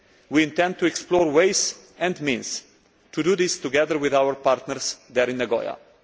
We intend to explore ways and means to do this, together with our partners in Nagoya.